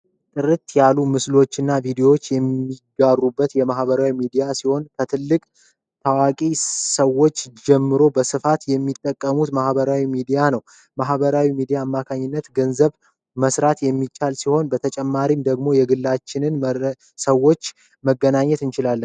ጥርት ያሉ ምስሎችና ቪዲዮዎች የሚጋሩበት የማህበራዊ ሚዲያ ሲሆን ከትልቅ ታዋቂ ሰዎች ጀምሮ በስፋት የሚጠቀሙት ማህበራዊ ሚዲያ ነው። ማህበራዊ ሚዲያ አማካኝነት ገንዘብ መስራት የሚቻል ሲሆን በተጨማሪም ደሞ የግላችንን ሰዎች መናገር እንችላለን።